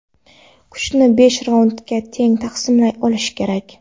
Kuchni besh raundga teng taqsimlay olish kerak.